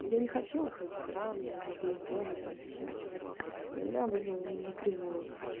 я не хотела ходить в храм я забыла бога там всё это тут и меня вывело на кривую